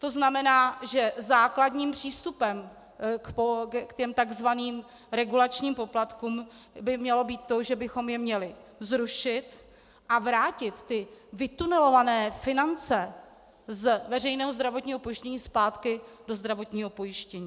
To znamená, že základním přístupem k těm tzv. regulačním poplatkům by mělo být to, že bychom je měli zrušit a vrátit ty vytunelované finance z veřejného zdravotního pojištění zpátky do zdravotního pojištění.